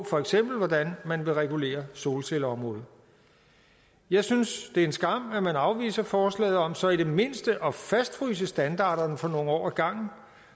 for eksempel vil regulere solcelleområdet jeg synes det er en skam at man afviser forslaget om så i det mindste at fastfryse standarderne for nogle år ad gangen